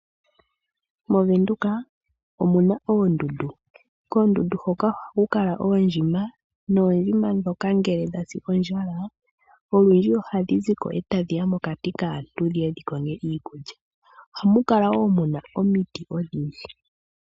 Movenduka omuna oondundu. Koondundu hoka ohaku kala oondjima, noondjima ndhoka ngele dha si ondjala, olundji ohadhi ziko e tadhi ya mokati kaantu, dhiye dhikonge iikulya. Ohamu kala wo muna omiti odhindji.